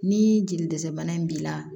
Ni jeli dɛsɛ bana in b'i la